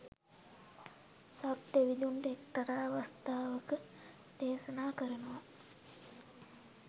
සක් දෙවිඳුන්ට එක්තරා අවස්ථාවක දේශනා කරනවා